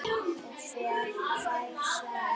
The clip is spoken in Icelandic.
Og fær svarið